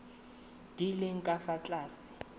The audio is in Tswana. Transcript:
di leng ka fa tlase